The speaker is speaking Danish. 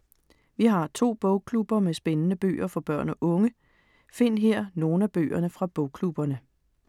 Vi har to bogklubber med spændende bøger for børn og unge. Find her nogle af bøgerne fra bogklubberne.